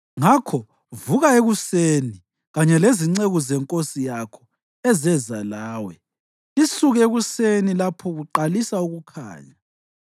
Ngakho vuka ekuseni, kanye lezinceku zenkosi yakho ezeza lawe, lisuke ekuseni lapho kuqalisa ukukhanya.”